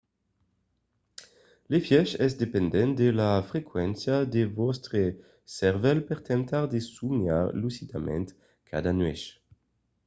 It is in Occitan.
l'efièch es dependent de la frequéncia de vòstre cervèl per temptar de somiar lucidament cada nuèch